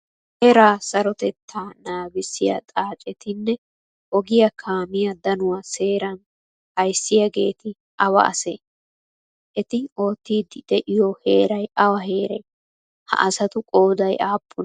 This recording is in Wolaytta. Heera sarotetta naagisiyaa xaacettine ogiya kamiyaa danuwaa seeran ayssigaeti awa asee? Eti oottidi deiyo heeray awa heere? Ha asatu qoday appune?